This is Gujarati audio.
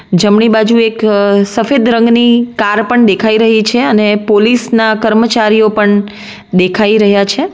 જમણી બાજુ એક સફેદ રંગની કાર પણ દેખાય રહી છે અને પોલીસના કર્મચારીઓ પણ દેખાય રહ્યા છે.